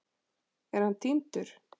Er hann týndur?